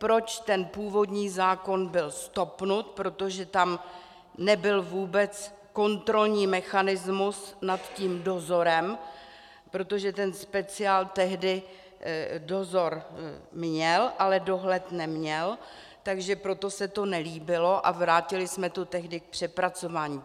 Proč ten původní zákon byl stopnut - protože tam nebyl vůbec kontrolní mechanismus nad tím dozorem, protože ten speciál tehdy dozor měl, ale dohled neměl, takže proto se to nelíbilo a vrátili jsme to tehdy k přepracování.